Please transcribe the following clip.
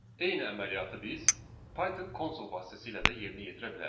Eyni əməliyyatı biz Python konsol vasitəsilə də yerinə yetirə bilərik.